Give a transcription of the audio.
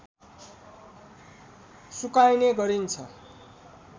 सुकाइने गरिन्छ